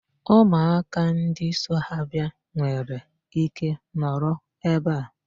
Ụmụaka ndị so ha bịa nwere ike nọrọ ebe a.